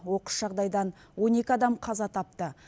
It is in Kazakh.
оқыс жағдайдан он екі адам қаза тапты